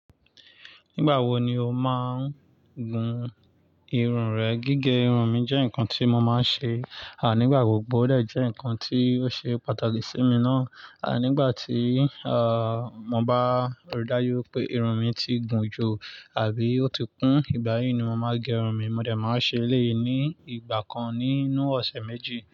Nígbà wo ni o máa ń gún irun rẹ? Gígé irun mi jẹ́ nǹkan tí mo máa ń ṣe, à nígbà gbogbo o de jẹ́ ǹnkan tí ó ṣe pàtàkì sí mi ná. À nígbà tí, à, mo bá rí dájú wipé irun mi ti gùn jù àbí ó ti kún, ìgbà yìí ni mo máa gé irun mi. Mo de máa ń ṣe eléyìí ní ìgbà kan nínú ọ̀sẹ̀ méjì.